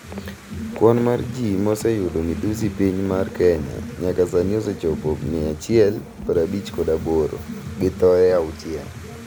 Kwan mar ji mose yudo midhusi piny mar Kenya nyaka sani osechopo 158 gi thoe 6.